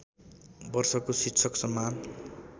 वर्षको शिक्षक सम्मान